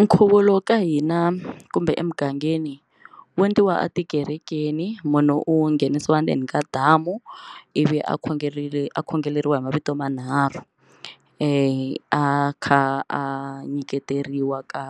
Nkhuvo lowu ka hina kumbe emugangeni wu endliwa etikerekeni munhu u nghenisiwa ndzeni ka damu i vi a khongerile a khongeleriwa hi mavito manharhu a kha a nyiketeriwa ka